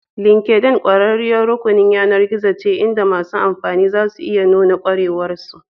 LinkedIn ƙwararriyar rukunin yAnar gizon ce inda masu amfani za su iya nuna ƙwarewar su